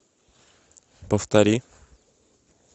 повтори